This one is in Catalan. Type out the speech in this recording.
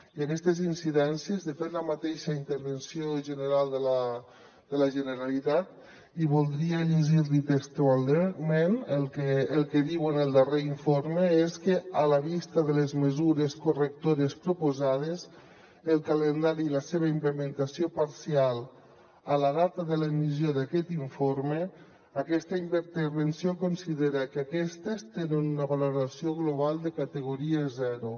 i d’aquestes incidències de fet la mateixa intervenció general de la generalitat i voldria llegir li textualment el que diu en el darrer informe és que a la vista de les mesures correctores proposades el calendari i la seva implementació parcial a la data de l’emissió d’aquest informe aquesta intervenció considera que aquestes tenen una valoració global de categoria zero